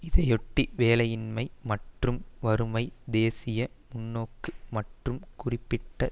இதையொட்டி வேலையின்மை மற்றும் வறுமை தேசிய முன்னோக்கு மற்றும் குறிப்பிட்ட